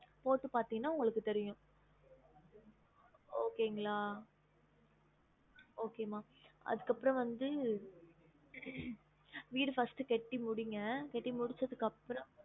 போட்டு பார்த்திங்கனா உங்களுக்கு தெரியும் okay ங்களா okay மா அதுக்கு அப்ரோ வந்து வீடு first கெட்டி முடிங்க கெட்டி முடிச்சதுக்கு அப்ரோ